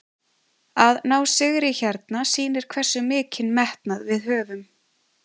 Að ná sigri hérna sýnir hversu mikinn metnað við höfum.